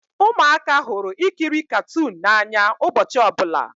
Ụmụaka hụrụ ikiri katuunu n'anya ụbọchị ọbụla